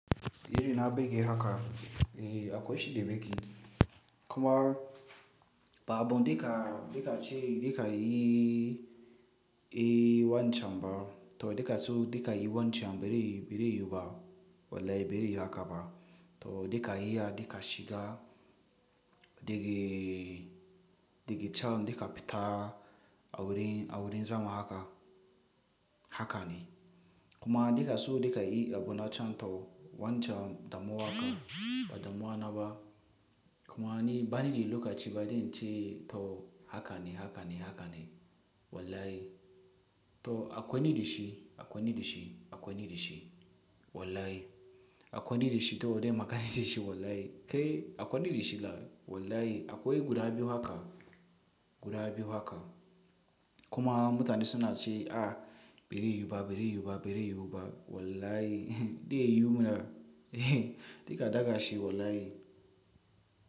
Yanzu na baje haka, eh akwai shi da baki. Kuma ba abu dika, dika ce dika yi, yi wancan ba, to dika so dika yi wancan bari, bari yiwu ba. Wallahi bari haka ba. To dika iya dika shiga daga, daga can dika fita a wurin, a wurin zaman haka, haka ne. Kuma dika so dika yi abu na can to wancan damuwa ka, ba damuwa na ba. Kuma ni bani da lokaci ba dan ce to haka ne, haka ne, haka ne. Wallahi to akwai ni da shi, akwai ni da shi, akwai ni da shi. Wallahi akwai ni da shi to dai ma ka ni da shi wallahi. Kai akwai ni da shi la wallahi akwai guda biyu haka, guda biyu haka. Kuma mutane suna ce a bari yiwu ba, bari yiwu ba, bari yiwu ba. Wallahi de yiwu na, dika daga shi wallahi.